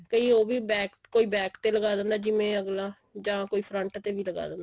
ਕਈ ਉਹ ਵੀ back ਤੇ ਕੋਈ back ਤੇ ਲਗਾ ਦਿੰਦਾ ਜਿਵੇਂ ਅਗਲਾ ਜਾ ਕੋਈ front ਤੇ ਵੀ ਲਗਾ ਦਿੰਦਾ